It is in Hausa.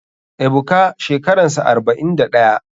Ebuka shekaransa 41.